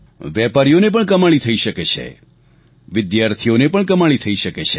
વેપારીઓને પણ કમાણી થઈ શકે છે વિદ્યાર્થીઓને પણ કમાણી થઈ શકે છે